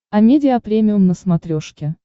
амедиа премиум на смотрешке